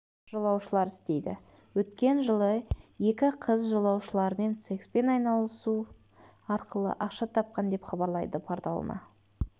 жолаушылар істейді өткен жылы екі қыз жолаушылармен секспен айналысу арқылы ақша тапқан деп хабарлайды порталына